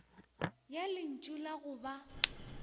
ya lentšu la go ba